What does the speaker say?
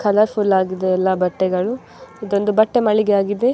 Colour full ಆಗಿದೆ ಎಲ್ಲ ಬಟ್ಟೆಗಳು ಇದೊಂದು ಬಟ್ಟೆ ಮಳಿಗೆ ಯಾಗಿದೆ.